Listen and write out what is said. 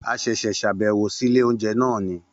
A ṣẹ̀ṣẹ̀ ṣàbẹ̀wò sí ilé oúnjẹ náà ni